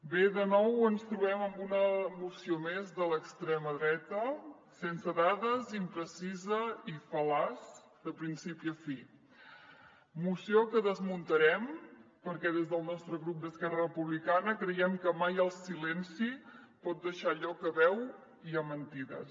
bé de nou ens trobem amb una moció més de l’extrema dreta sense dades imprecisa i fal·laç de principi a fi moció que desmuntarem perquè des del nostre grup d’esquerra republicana creiem que mai el silenci pot deixar lloc a veu i a mentides